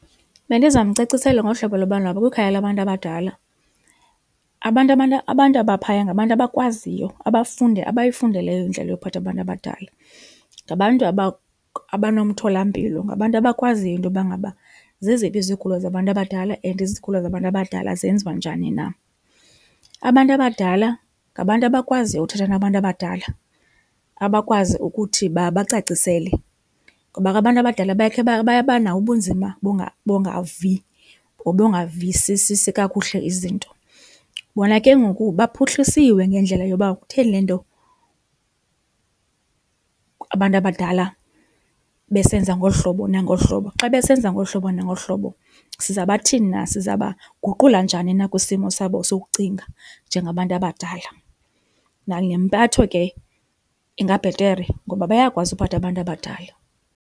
Bendizamcacisela ngohlobo lobana kwikhaya labantu abadala abantu abantu abaphaya ngabantu abakwaziyo, abayifundeleyo indlela yokuphatha abantu abadala. Ngabantu abanomtholampilo, ngabantu abakwaziyo intoba ngaba zeziphi izigulo zabantu abadala and izigulo zabantu abadala zenziwa njani na. Abantu abadala ngabantu abakwaziyo ukuthetha nabantu abadala, abakwazi ukuthi babacacisele, kuba ke abantu abadala bakhe babanawo ubunzima bongavi nobongavisisisi kakuhle izinto. Bona ke ngoku baphuhlisiwe ngendlela yoba kutheni le nto abantu abadala besenza ngolu hlobo nangolu hlobo, xa besenza ngolu hlobo nangolu hlobo siza bathini na, sizawuba guqula njani na kwisimo sabo sokucinga njengabantu abadala. Nangempatho ke ingabhetere ngoba bayakwazi ukuphatha abantu abadala.